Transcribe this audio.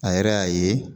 A yɛrɛ y'a ye